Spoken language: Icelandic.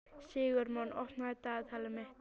Sigurmon, opnaðu dagatalið mitt.